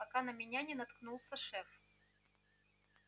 пока на меня не наткнулся шеф